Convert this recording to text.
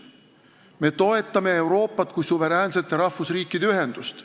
Me toetame Euroopat kui suveräänsete rahvusriikide ühendust.